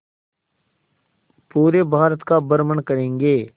पूरे भारत का भ्रमण करेंगे